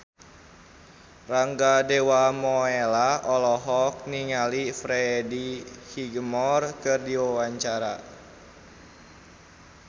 Rangga Dewamoela olohok ningali Freddie Highmore keur diwawancara